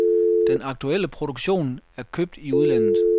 Den aktuelle produktion er købt i udlandet.